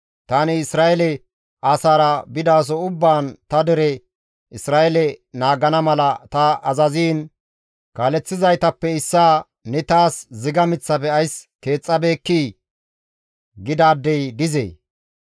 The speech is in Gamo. Tani Isra7eele asaara bidaso ubbaan ta dere Isra7eele naagana mala ta azaziin kaaleththizaytappe issaa, ‹Ne taas ziga miththafe ays keexxabeekkii?› gidaadey dizee?